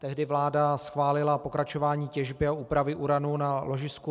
Tehdy vláda schválila pokračování těžby a úpravy uranu na ložisku